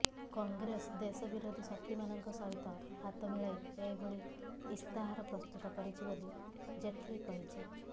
କଂଗ୍ରେସ ଦେଶ ବିରୋଧୀ ଶକ୍ତିମାନଙ୍କ ସହିତ ହାତ ମିଳାଇ ଏଭଳି ଇସ୍ତାହାର ପ୍ରସ୍ତୁତ କରିଛି ବୋଲି ଜେଟ୍ଲି କହିଛି